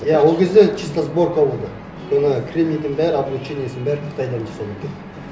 иә ол кезде чисто сборка болды оны кремнийдің бәрін облучениесін бәрін қытайдан жасап әкелді